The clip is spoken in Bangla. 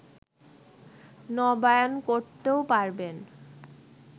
নবায়ন করতেও পারবেন